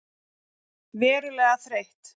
Verulega þreytt.